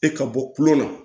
E ka bɔ kulon na